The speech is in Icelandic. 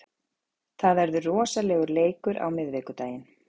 Það verður rosalegur leikur á miðvikudaginn.